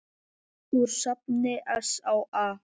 Úr safni SÁA.